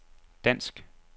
dansk